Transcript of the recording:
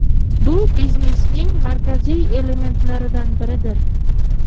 Bu biznesning markaziy elementlaridan biridir.